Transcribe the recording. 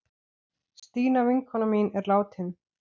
Stína vinkona mín er látin.